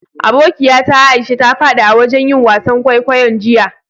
Abokiya ta Aisha ta fadi a'wajen yin wasan kwaikwayo'n jiya.